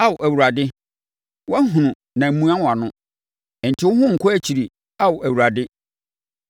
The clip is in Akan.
Ao Awurade, wahunu na mmua wʼano. Nte wo ho nkɔ akyiri, Ao Awurade.